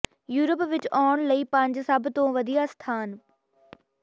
Europe ਵਿੱਚ ਆਉਣ ਲਈ ਪੰਜ ਸਭ ਤੋਂ ਵਧੀਆ ਸਥਾਨ